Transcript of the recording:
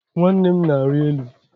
Nwanne m na-arị elu